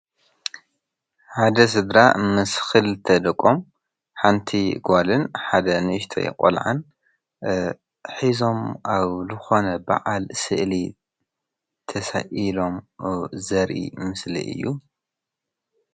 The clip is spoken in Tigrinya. ሓደ ስድራ ምስ ክልተ ደቆም ሓንቲ ጓልን ሓደ ንእሽተይ ቆልዓን ሒዞም ኣብ ዝኮነ በዓል ስእሊ ተሳኢሎም ዘርኢ ምስሊ እዩ።